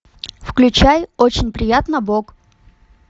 включай очень приятно боб